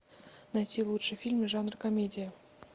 найти лучшие фильмы жанра комедия